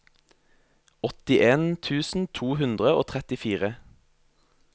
åttien tusen to hundre og trettifire